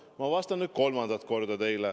Ma vastan nüüd kolmandat korda teile.